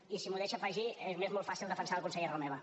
i si m’ho deixa afegir m’és molt fàcil defensar el conseller romeva